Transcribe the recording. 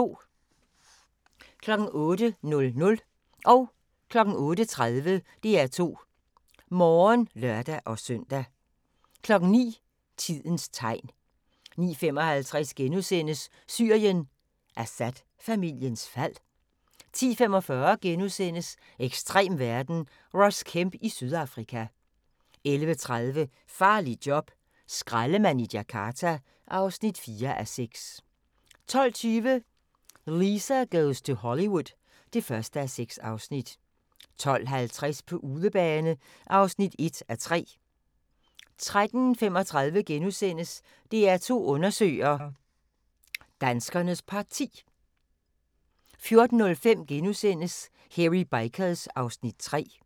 08:00: DR2 Morgen (lør-søn) 08:30: DR2 Morgen (lør-søn) 09:00: Tidens tegn 09:55: Syrien: Assad-familiens fald? * 10:45: Ekstrem verden – Ross Kemp i Sydafrika * 11:30: Farligt job - skraldemand i Jakarta (4:6) 12:20: Lisa Goes to Hollywood (1:6) 12:50: På udebane (1:3) 13:35: DR2 Undersøger: Danskernes Parti * 14:05: Hairy Bikers (Afs. 3)*